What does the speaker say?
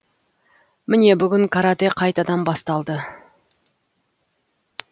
міне бүгін каратэ қайтадан басталды